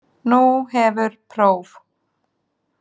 Nú hefur próf.